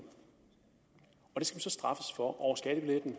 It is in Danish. og det skal man så straffes for over skattebilletten